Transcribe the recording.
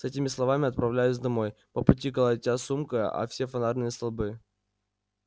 с этими словами отправляюсь домой по пути колотя сумкой о все фонарные столбы